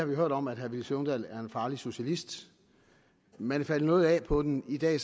vi hørt om at herre villy søvndal er en farlig socialist man er faldet noget af på den i dag